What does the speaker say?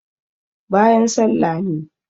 bayan sallah ne